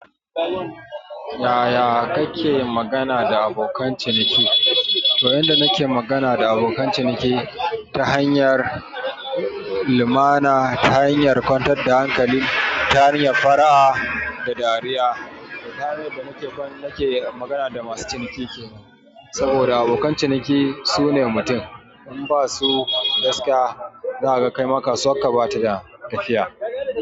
Yaya kake magana da abokan ciniki? Toh yanda nake magana da abokan ciniki ta hanyar lumana, ta hanyar kwantar da hankali, ta hanyar fara'a da dariya. Tahanyar da nake, nake magana da masu ciniki saboda abokan ciniki su ne mutum. In ba su gaskiya, za kaga kaima kasuwanka bata da tafiya.